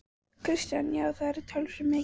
Kristján: Já, og það var talsvert mikið?